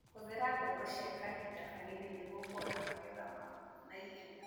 Hũthĩra mbegũ cia kahinda kanini nĩguo kuona magetha ma naihenya.